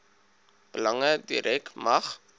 belange direk mag